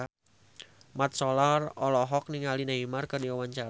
Mat Solar olohok ningali Neymar keur diwawancara